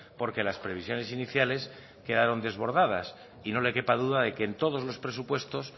porque las previsiones iniciales quedaron desbordadas y no le quepa duda de que en todos los presupuestos